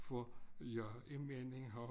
For jeg en mening har